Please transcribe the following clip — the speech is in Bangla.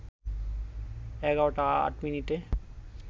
১১টা ৮ মিনিটে